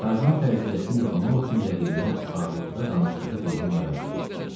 Tarzan fərziyyəsini yoxlamaq üçün rəqibinə uşaqlıqda danışdığı dildə müraciət etdi.